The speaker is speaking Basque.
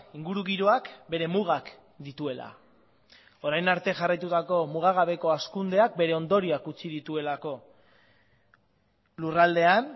ingurugiroak bere mugak dituela orain arte jarraitutako mugagabeko hazkundeak bere ondorioak utzi dituelako lurraldean